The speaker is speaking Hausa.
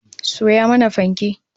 Soya mana fanke!